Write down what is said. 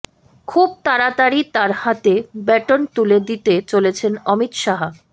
খুব তাড়াতাড়ি তাঁর হাতে ব্যাটন তুলে দিতে চলেছেন অমিত শাহ